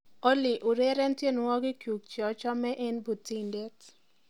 olly ureren tienywogikyuk cheochome en putindet